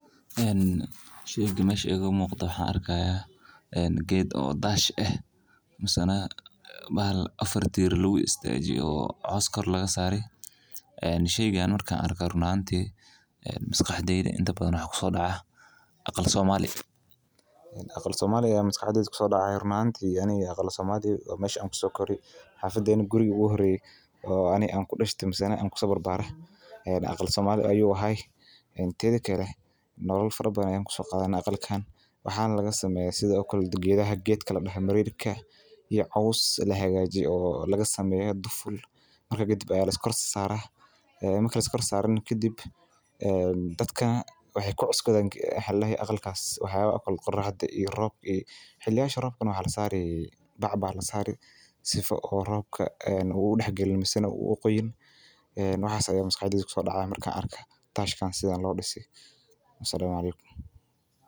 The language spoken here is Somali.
Sheyga waxaan arki haaya meel aaran ah oo lagu soo bandige alwaax hilibka la keeno badanaa wuxuu yahay qalab muhiim ah oo laga helo waa faidooyin kala nooc ah waxa lageyna suuqa ayaa lageyni si aay uhelaan daqli kabachka waa mid aad muhiim u ah oo wax soo barte kuna taqasuse howshan.